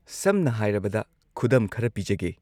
ꯁꯝꯅ ꯍꯥꯏꯔꯕꯗ ꯈꯨꯗꯝ ꯈꯔ ꯄꯤꯖꯒꯦ꯫